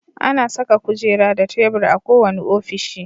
Ana saka kujera da tebur a kowane ofishi.